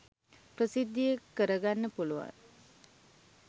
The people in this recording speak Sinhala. ප්‍රසිද්ධියේ කර ගන්න පුළුවන්.